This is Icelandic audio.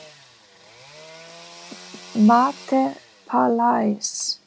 MATE PALAIS